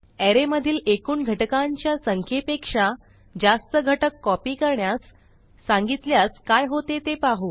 अरे मधील एकूण घटकांच्या संख्येपेक्षा जास्त घटक कॉपी करण्यास सांगितल्यास काय होते ते पाहू